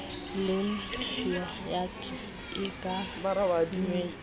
le yogathe e ka nwewa